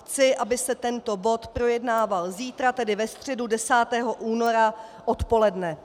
Chci, aby se tento bod projednával zítra, tedy ve středu, 10. února odpoledne.